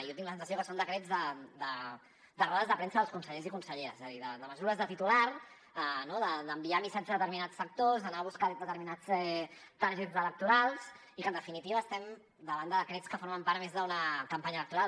jo tinc la sensació que són decrets de rodes de premsa dels consellers i conselleres és a dir de mesures de titular d’enviar missatges a determinats sectors d’anar a buscar determinats targets electorals i que en definitiva estem davant de decrets que formen part més d’una campanya electoral